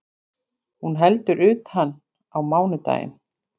Hún heldur utan á mánudaginn